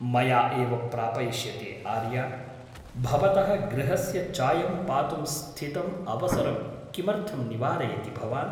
मया एव प्रापयिष्यते आर्या । भवतः गृहस्य चायं पातुं स्थितम् अवसरं किमर्थं निवारयति भवान् ?